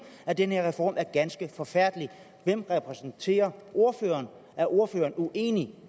at den her reform er ganske forfærdelig hvem repræsenterer ordføreren er ordføreren med uenig